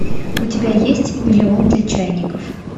у тебя есть миллион для чайников